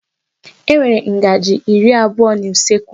E nwere ngaji iri abụọ n'usekwu.